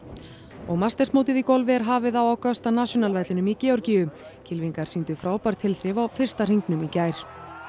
og í golfi er hafið á Augusta National vellinum í Georgíu kylfingar sýndu frábær tilþrif á fyrsta hringnum í gær